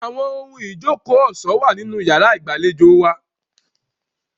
Àwọn ohun ìjókòó ọ̀ṣọ́ wà nínú yàrá ìgbàlejò wa.